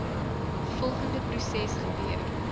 volgende proses gebeur